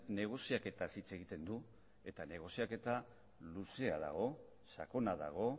negoziaketaz hitz egiten du eta negoziaketa luzea dago sakona dago